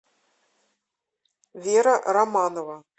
вера романова